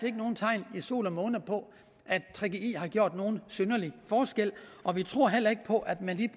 er nogen tegn i sol og måne på at gggi har gjort nogen synderlig forskel og vi tror heller ikke på at man i